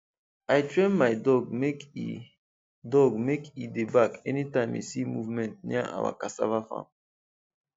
i train my dog make e dog make e dey bark anytime e see movement near our cassava farm